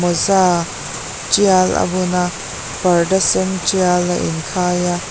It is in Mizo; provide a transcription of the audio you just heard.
mawza tial a bun a parda sen tial a inkhai a.